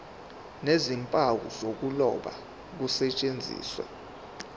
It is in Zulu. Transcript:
nezimpawu zokuloba kusetshenziswe